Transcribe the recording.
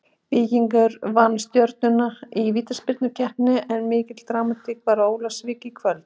Víkingur vann Stjörnuna í vítaspyrnukeppni en mikil dramatík var á Ólafsvík í kvöld.